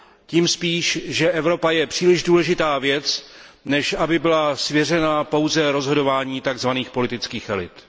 Tím spíš, že Evropa je příliš důležitá věc, než aby byla svěřena pouze rozhodování tzv. politických elit.